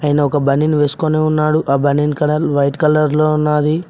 ఆయన ఒక బనిన్ వేసుకొని ఉన్నాడు ఆ బనిన్ కలర్ వైట్ కలర్ లో ఉన్నది.